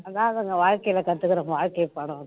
அதான் அதுங்க வாழ்க்கையில கத்துக்குற வாழ்க்கை பாடம் அது தான்